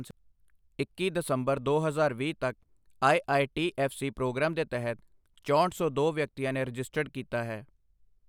ਇੱਕੀ ਦਸੰਬਰ ਦੋ ਹਜ਼ਾਰ ਵੀਹ ਤੱਕ, ਆਈਆਈਟੀਐਫ਼ਸੀ ਪ੍ਰੋਗਰਾਮ ਦੇ ਤਹਿਤ ਚੋਂਹਠ ਸੌ ਦੋ ਵਿਅਕਤੀਆਂ ਨੇ ਰਜਿਸਟਰਡ ਕੀਤਾ ਹੈ।